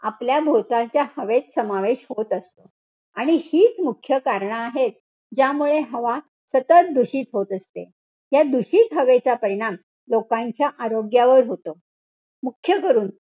आपल्या भोवतालच्या हवेत समावेश होत असतो. आणि हीच मुख्य कारणं आहेत. ज्यामुळे हवा सतत दूषित होत असते. या दूषित हवेचा परिणाम लोकांच्या आरोग्यावर होतो. मुख्यकरून,